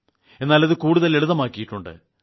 എന്നാൽ അത് കൂടുതൽ ലളിതമാക്കിയിട്ടുണ്ട്